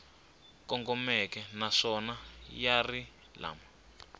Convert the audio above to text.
kongomeke naswona ya ri lama